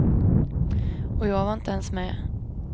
Och jag var inte ens med.